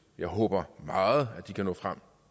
jeg håber meget at de kan nå frem